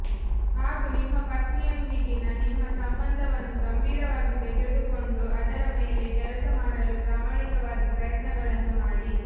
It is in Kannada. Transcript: ಹಾಗೂ ನಿಮ್ಮ ಪತ್ನಿಯೊಂದಿಗಿನ ನಿಮ್ಮ ಸಂಬಂಧವನ್ನು ಗಂಭೀರವಾಗಿ ತೆಗೆದುಕೊಂಡು ಅದರ ಮೇಲೆ ಕೆಲಸ ಮಾಡಲು ಪ್ರಾಮಾಣಿಕವಾಗಿ ಪ್ರಯತ್ನಗಳನ್ನು ಮಾಡಿ